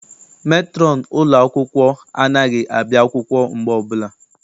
Metrọn ụlọ akwụkwọ anaghị abịa akwụkwọ mgbe ọbụla.